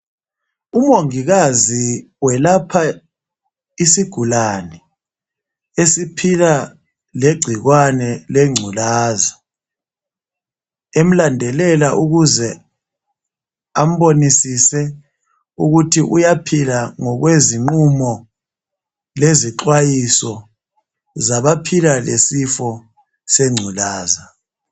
Umongikazi welapha isigulane esiphila legciwane lengculaza. Emlandelele ukuze ambonisise ukuthi uyaphila ngokwezinqumo lezixwayiso zabaphila lesifo sengculaza.